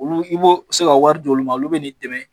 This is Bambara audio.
Olu i b'o i bɛ se ka wari d'olu ma olu bɛ ni dɛmɛ